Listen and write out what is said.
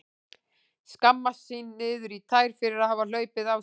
Skammast sín niður í tær fyrir að hafa hlaupið á sig.